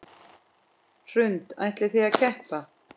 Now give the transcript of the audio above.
Hrund: Ætlið þið að keppa?